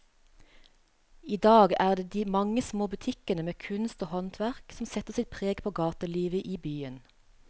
I dag er det de mange små butikkene med kunst og håndverk som setter sitt preg på gatelivet i byen.